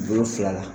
Wolonfila la